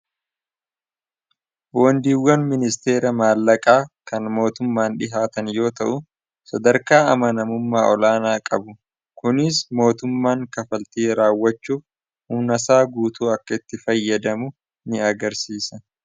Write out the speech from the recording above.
wondiiwwan ministeera maallaqaa kan mootummaan dhihaatan yoo ta'u sadarkaa amanamummaa olaanaa qabu kuniis mootummaan kafaltii raawwachuuf umnasaa guutuu akka itti fayyadamu ni agarsiisa